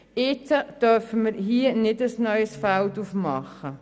Jetzt dürfen wir hier kein neues Feld öffnen.